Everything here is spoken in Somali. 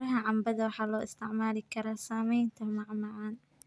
Midhaha cambada waxaa loo isticmaali karaa sameynta macmacaan.